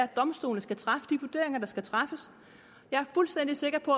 domstolene skal træffe de vurderinger der skal træffes jeg er fuldstændig sikker på